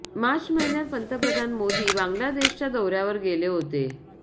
मार्च महिन्यात पंतप्रधान मोदी बांगलादेशच्या दौऱ्यावर गेले होते